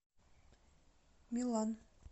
милан